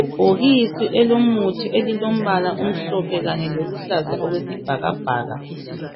Ibhokisi elomuthi elilombala omhlophe kanye loluhlaza okwesibhakabhaka